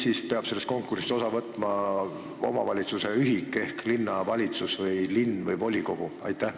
Või peab sellest konkursist osa võtma omavalitsuse ühik ehk linnavalitsus, linn või volikogu?